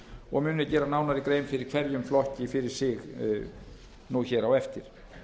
og mun ég nú gera nánari grein fyrir hverjum flokki fyrir sig á eftir